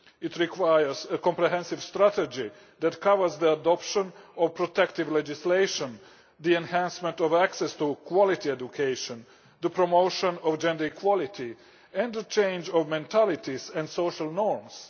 It requires a comprehensive strategy that covers the adoption of protective legislation, the enhancement of access to quality education, the promotion of gender equality, and a change in mentalities and social norms.